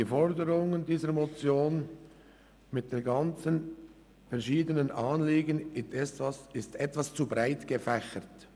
Die Forderungen dieser Motion mit all den verschiedenen Anliegen sind etwas zu breit gefächert.